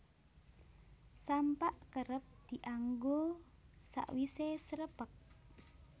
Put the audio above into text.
Sampak kerep dianggo sawisé srepeg